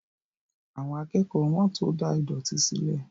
Àwọn akẹ́kọ̀ọ́ wọ́n tó da ìdọ̀tí sílẹ̀